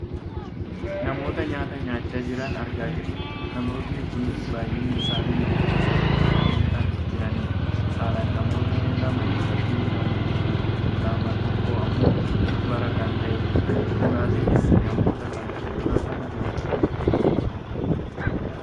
namoota nyaata nyaachaa jiran argaa jirra. namoonni kun baayyinni isaanii namoota sadi ta'anii kan jiranidha. saalaan namootni lama dhiiraafi lama tokko ammoo dubara kan taatedha. dhugaatinis namoota kan fuuldura kan jirudha.